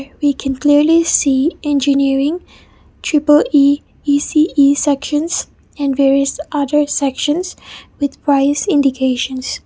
we can clearly see engineering triple e E_C_E sections and various other sections with price indications.